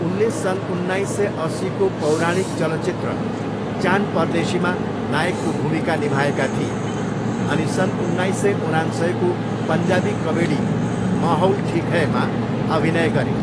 उनले सन् उन्नाइस सय अस्सीको पौराणिक चलचित्र चान परदेशीमा नायकको भूमिका निभाएका थिए अनि सन् उन्नाइस सय उनान्सयको पन्जाबी कमेडी महौल ठिक है मा अभिनय गरे।